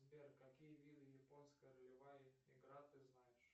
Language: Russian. сбер какие виды японская ролевая игра ты знаешь